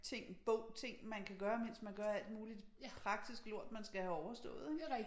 Ting bog ting man kan gøre mens man gør alt muligt praktisk lort man skal have overstået ik